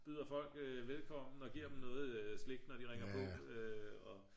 byder folk velkommen og giver dem noget slik når de ringer på og ja